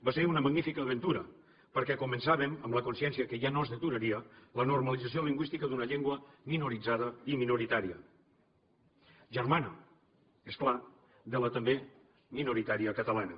va ser una magnífica aventura perquè començàvem amb la consciència que ja no es deturaria la normalització lingüística d’una llengua minoritzada i minoritària germana és clar de la també minoritària catalana